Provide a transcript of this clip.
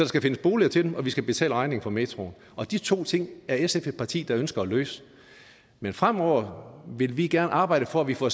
skal findes boliger til dem og vi skal betale regningen for metroen og de to ting er sf et parti der ønsker at løse men fremover vil vi gerne arbejde for at vi får